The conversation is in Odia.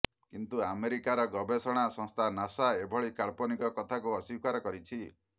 କିନ୍ତୁ ଆମେରିକାର ଗବେଷଣା ସଂସ୍ଥା ନାସା ଏଭଳି କାଳ୍ପନିକ କଥାକୁ ଅସ୍ୱୀକାର କରିଛି